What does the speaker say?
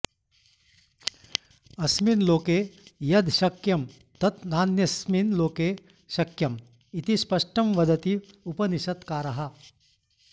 अस्मिन् लोके यद् शक्यं तत् नान्यस्मिन् लोके शक्यम् इति स्पष्टं वदति उपनिषत्काराः